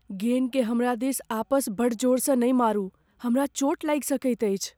गेन के हमरा दिस आपस बड्ड जोरसँ नहि मारू। हमरा चोट लागि सकैत अछि।